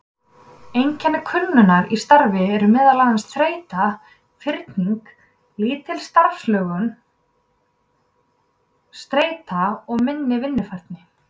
Einkenni kulnunar í starfi eru meðal annars þreyta, firring, lítil starfslöngun, streita og minni vinnufærni.